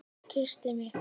Og kyssti mig.